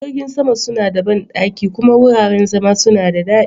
Jiragen sama suna da banɗaki kuma wuraren zama suna da daɗi.